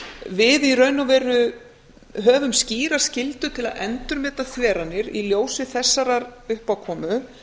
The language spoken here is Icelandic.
við í raun og veru höfum skýra skyldu til að endurmeta þveranir í ljósi þessarar uppákomu